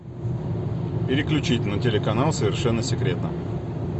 переключить на телеканал совершенно секретно